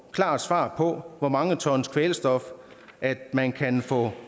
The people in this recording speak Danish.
klart svar på hvor mange tons kvælstof man kan få